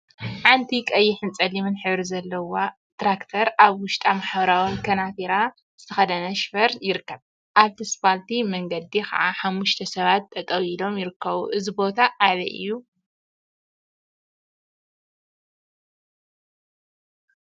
ሓንቲ ቀይሕን ፀሊምን ሕብሪ ዘለዋ ትራክተር አብ ውሽጣ ሕብራዊ ከናቲራ ዝተከደነ ሽፈር ይርከብ፡፡ አብቲ እስፓልት መንገዲ ከዓ ሓሙሽተ ሰባት ጠጠወ ኢሎም ይርከቡ፡፡ እዚ ቦታ አበይ እዩ?